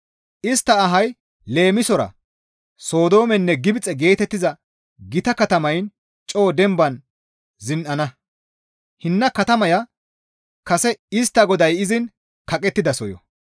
Istta ahay leemisora Sodoomenne Gibxe geetettiza gita katamayn coo demban zin7ana; hinna katamaya kase istta Goday izin kaqettidasoyo.